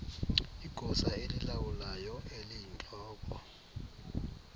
igosa elilawulayo eliyintloko